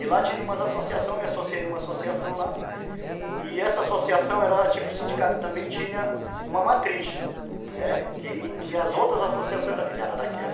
E lá tinha umas associações, me associei em uma associação lá, e essa associação era tipo sindicato, também tinha uma matriz, né, que as outras associações eram afiliadas daquela